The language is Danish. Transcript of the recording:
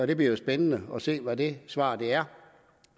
det bliver jo spændende at se hvad det svar er